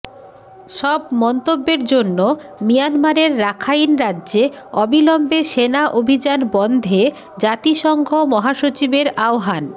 সব মন্তব্যের জন্য মিয়ানমারের রাখাইন রাজ্যে অবিলম্বে সেনা অভিযান বন্ধে জাতিসংঘ মহাসচিবের আহ্বান